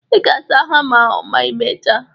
Ị ga-asa hama ahụ ma ị mechaa